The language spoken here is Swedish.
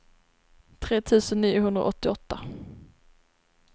tre tusen niohundraåttioåtta